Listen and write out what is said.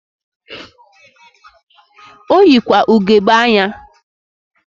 Oyikwa ugegbe anya.